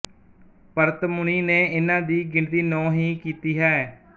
ਭਰਤ ਮੁਨੀ ਨੇ ਇਨ੍ਹਾਂ ਦੀ ਗਿਣਤੀ ਨੌ ਹੀ ਕੀਤੀ ਹੈ